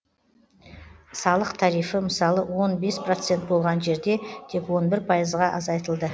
салық тарифі мысалы он бес процент болған жерде тек он бір пайызға азайтылды